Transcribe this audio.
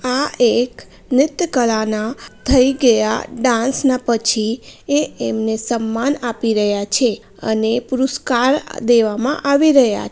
આ એક નૃત્ય કાલા ના થઇ ગયા ડાન્સ ના પછી એ એમને સંમાન આપી રહ્યા છે અને પુરુસ્કાર અ દેવા માં આવી રહ્યા